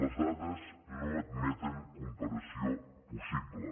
les dades no admeten comparació possible